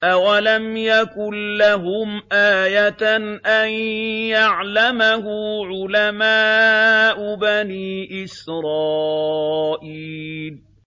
أَوَلَمْ يَكُن لَّهُمْ آيَةً أَن يَعْلَمَهُ عُلَمَاءُ بَنِي إِسْرَائِيلَ